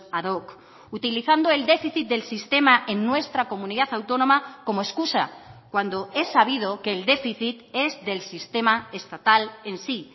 ad hoc utilizando el déficit del sistema en nuestra comunidad autónoma como excusa cuando es sabido que el déficit es del sistema estatal en sí